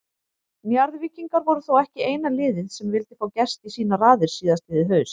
Njarðvíkingar voru þó ekki eina liðið sem vildi fá Gest í sínar raðir síðastliðið haust.